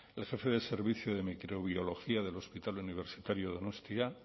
el jefe del servicio de microbiología del hospital universitario donostia